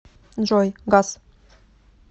джой гас